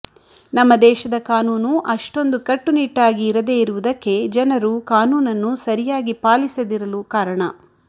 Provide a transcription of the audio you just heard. ನಮ್ಮ ದೇಶದ ಕಾನೂನು ಅಷ್ಟೊಂದು ಕಟ್ಟು ನಿಟ್ಟಾಗಿ ಇರದೇ ಇರುವುದಕ್ಕೆ ಜನರು ಕಾನೂನನ್ನು ಸರಿಯಾಗಿ ಪಾಲಿಸದಿರಲು ಕಾರಣ